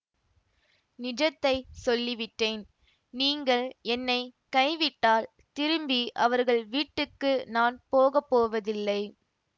நிஜத்தை சொல்லிவிட்டேன் நீங்கள் என்னை கைவிட்டால் திரும்பி அவர்கள் வீட்டுக்கு நான் போக போவதில்லை